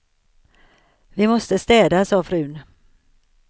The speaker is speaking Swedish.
Vi måste städa, sa frun.